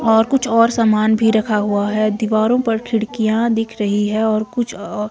और कुछ और सामान भी रखा हुआ है दीवारों पर खिड़कियां दिख रही है और कुछ ओ--